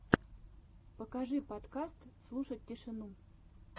покажи подкаст слушать тишину